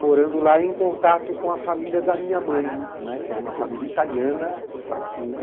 Morando lá em contato com a família da minha mãe, né, que era uma família italiana, facchine.